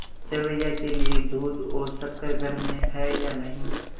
सेवैयों के लिए दूध और शक्कर घर में है या नहीं